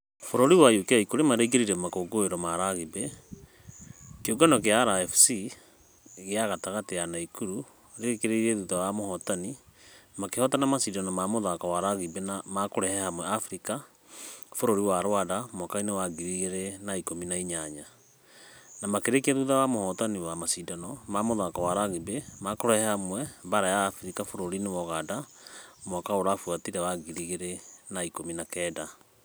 Bũrũri wa Uk kũrĩ maraingĩrire makũngũĩro ma rugby , kĩũngano gĩa rfc ya gatatũ ya naikuru ya rĩkirie thutha wa mũhotani , makĩhotana mashidano ma mũthako wa rugby ma kũrehe hamwe africa bũrũri wa rwanda mwaka-inĩ wa ngiri igĩrĩ na ikũmi na inyanya. Na makĩrĩkiq thutha wa mũhotani wa mashidano ma mũthako wa rugby ma kũrehe hamwe baara ya africa bũrũri wa uganda mwaka ũrabuatire wa ngiri igĩrĩ na ikũmi na kenda .